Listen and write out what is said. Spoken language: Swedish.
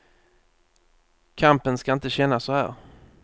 Kampen ska inte kännas så här.